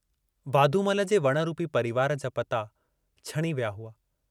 वाधमूल जे वण रूपी परिवार जा पता छणी विया हुआ।